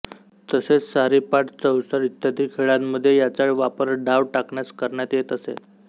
तसेच सारीपाट चौसर इत्यादी खेळांमधे याचा वापर डाव टाकण्यास करण्यात येत असे